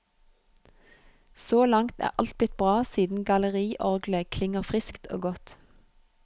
Så langt er alt blitt bra siden galleriorglet klinger friskt og godt.